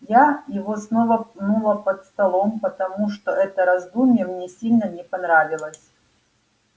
я его снова пнула под столом потому что это раздумье мне сильно не понравилось